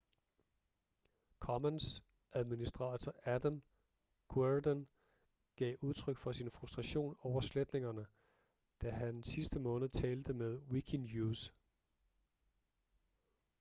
commons-administrator adam cuerden gav udtryk for sin frustration over sletningerne da han sidste måned talte med wikinews